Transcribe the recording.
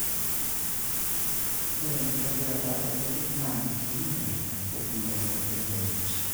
ore enkitobirata enterit naa keing'iel empikunoto e nterit